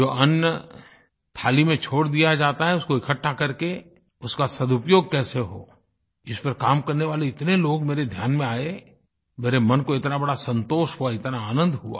जो अन्न थाली में छोड़ दिया जाता है उसको इकट्ठा करके उसका सदुपयोग कैसे हो इसमें काम करने वाले इतने लोग मेरे इतने ध्यान में आये मेरे मन को इतना बड़ा संतोष हुआ इतना आनंद हुआ